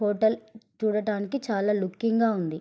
Hotel చూడడానికి చాలా looking గా ఉంది.